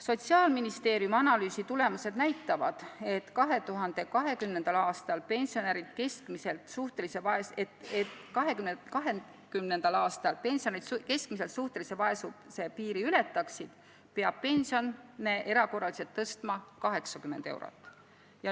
Sotsiaalministeeriumi analüüsi tulemused näitavad, et selleks, et 2020. aastal pensionärid keskmiselt suhtelise vaesuse piiri ületaksid, peab pensioni erakorraliselt tõstma 80 eurot.